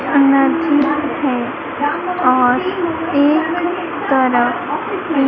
energy है और एक तरफ--